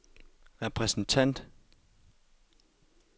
repræsentant